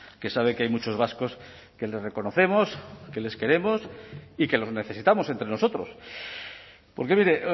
que sabe que hay muchos vascos que les reconocemos que les queremos y que los necesitamos entre nosotros porque mire